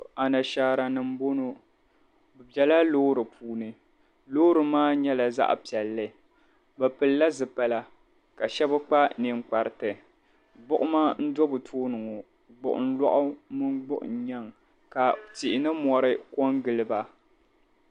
Anashaaranima m-bɔŋɔ bɛ bela loori puuni. Loori maa nyɛla zaɣ' piɛlli. Bɛ pilila zipila ka shɛba kpa ninkpariti. Gbuɣima n-do bɛ tooni ŋɔ gbuɣiŋ' loɣu mini gbuɣiŋ' nyaiŋ ka tihi ni mɔri kɔŋgili ba.